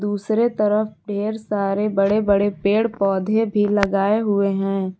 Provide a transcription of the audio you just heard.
दूसरे तरफ ढेर सारे बड़े-बड़े पेड़ पौधे भी लगाए हुए हैं।